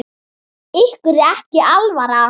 Ykkur er ekki alvara!